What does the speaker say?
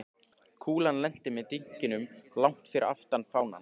Kúlan lenti með dynkjum langt fyrir aftan fánann.